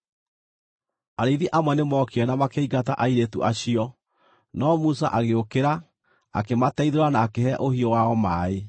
Arĩithi amwe nĩmookire na makĩingata airĩtu acio, no Musa agĩũkĩra, akĩmateithũra na akĩhe ũhiũ wao maaĩ.